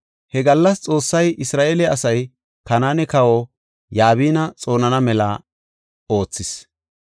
He gallas Xoossay Isra7eele asay Kanaane kawa Yabina xoonana mela oothis.